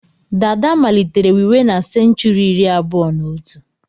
Dàdá malitere wiwe na senchuri iri abụọ na otù.